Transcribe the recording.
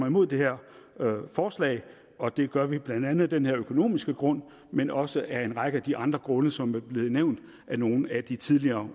imod det her forslag og det gør vi blandt andet af den her økonomiske grund men også af en række af de andre grunde som er blevet nævnt af nogle af de tidligere